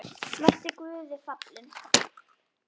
Vertu Guði falinn.